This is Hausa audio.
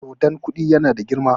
dodon Koɗin yana da girma!